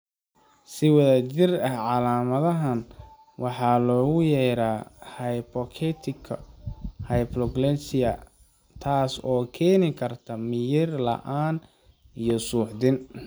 Si wada jir ah calaamadahan waxaa loogu yeeraa hypoketotika hypoglycemia, taas oo keeni karta miyir la'aan iyo suuxdin.